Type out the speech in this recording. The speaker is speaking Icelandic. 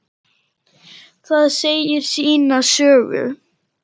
Það segir sína sögu.